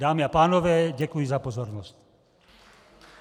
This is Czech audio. Dámy a pánové, děkuji za pozornost.